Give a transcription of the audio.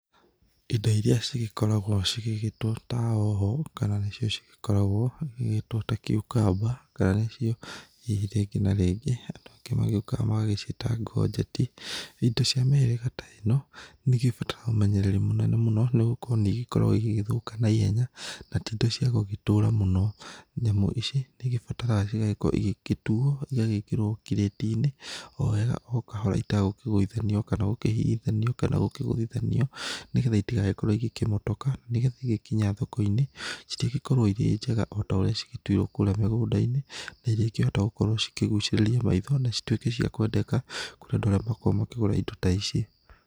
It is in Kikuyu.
Ĩndo ĩria cĩgĩkoragwo cigĩgĩtwo ta hoho kana nicio cigĩkoragwo cigĩtwo ta cucumber kana nicio hihi rĩngĩ na rĩngĩ andũ angĩ magĩũkaga magaciĩta ngonjeti, ĩndo cia mĩhĩrĩga ta ĩno nĩ ĩgĩbataraga ũmenyererĩ mũnene mũno nĩgũkorwo nĩ ĩkoragwo ĩgĩgĩthũka na ihenya na ti ĩndo cia gũgĩtũra mũno. Nyamũ ici nĩ ĩgĩbataraga cigagĩkorwo ĩgĩtuwo ĩgagĩkĩrwo kĩrĩti-inĩ o wega o kahora ĩtegũkĩgũithanio kana gũkĩhihinyanio kana gũkĩgũthithanio nĩgetha ĩtigagĩkorwo ĩkĩmotoka nĩgetha ĩgagĩkinya thoko-inĩ cirĩgĩkorwo ĩrĩ njega otorĩa cĩgĩtuirwo kũrĩa mũgũnda-inĩ na ĩrĩkĩhota gũkorwo cĩkĩgucĩrĩria maitho na cituĩke cia kwendeka kũrĩ andũ arĩa makoragwo makĩgũra ĩndo ta ici.